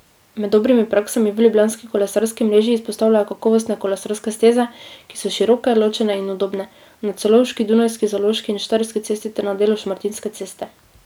Med dobrimi praksami v Ljubljanski kolesarski mreži izpostavljajo kakovostne kolesarske steze, ki so široke, ločene in udobne, na Celovški, Dunajski, Zaloški in Štajerski cesti ter na delu Šmartinske ceste.